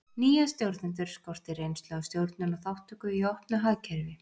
nýja stjórnendur skorti reynslu af stjórnun og þátttöku í opnu hagkerfi